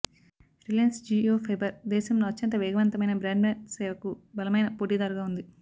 Reliance Jio fibre దేశంలో అత్యంత వేగవంతమైన బ్రాడ్బ్యాండ్ సేవకు బలమైన పోటీదారుగా ఉంది